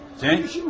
Sənin işin vardı?